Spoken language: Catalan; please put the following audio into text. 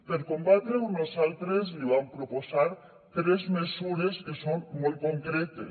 per combatre ho nosaltres li vam proposar tres mesures que són molt concretes